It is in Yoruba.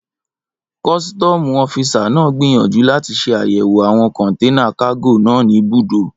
Kọ́sítọ́mù ọ́fisà náà gbìyànjú láti ṣe àyẹ̀wò àwọn kọ̀nténà kágò náà ní ibùdó